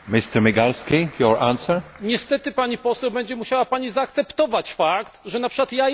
Niestety Pani Poseł, będzie Pani musiała zaakceptować fakt, że na przykład ja jestem zwolennikiem kary śmierci.